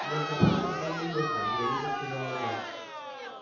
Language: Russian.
между прочим он уехал деловито сказала она